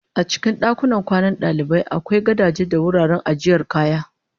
A cikin dakunan kwanan dalibai akwai gadaje da wuraren ajiyar kaya